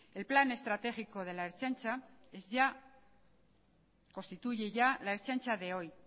el plan estratégico de la ertzaintza constituye ya la ertzintza de hoy